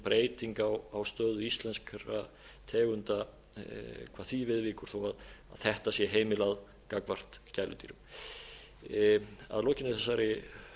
breyting á stöðu íslenskra tegunda hvað því viðvíkur þó þetta sé heimilað gagnvart gæludýrum að lokinni þessari